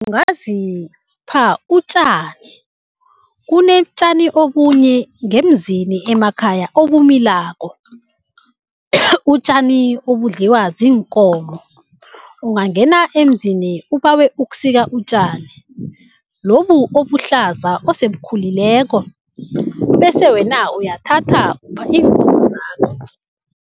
Ungazipha utjani. Kunetjani obunye ngemzini emakhaya obumilako, utjani obudliwa ziinkomo. Ungangena emzini ubawe ukusika utjani lobu obuhlaza osebukhulileko, bese wena uyathatha upha iinkomo zakho.